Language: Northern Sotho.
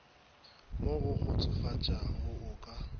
mo go kgotsofatšago o ka